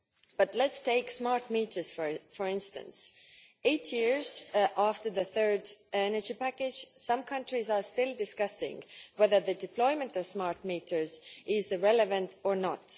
But let us take smart meters, for instance, where, eight years after the Third Energy Package, some countries are still discussing whether the deployment of smart meters is relevant or not.